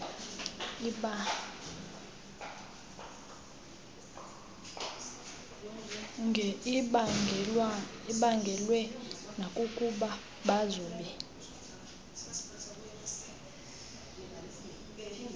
ibaangelwe nakukuba babazobe